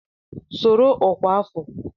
Soro ọkwa afọ!